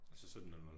Altså 17 00